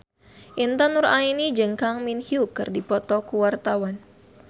Intan Nuraini jeung Kang Min Hyuk keur dipoto ku wartawan